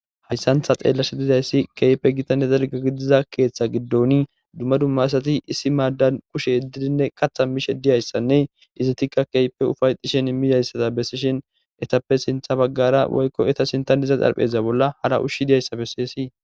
hayssantha xeellashe dizayssi keype gitanne derga gidiza keeththa giddoni dumma dumma asati issi maaddan kushe heddidinne qatha mishe diyayssanne izitikka keype ufayxishin immidayssata bessishin etappe sintha baggara woykko eta sintanniza calpheza bolla hara ushshi diyayssa besseesi